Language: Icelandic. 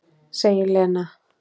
segir Lena.